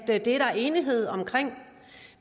at det er der enighed om